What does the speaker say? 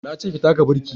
Na ce ki taka birki!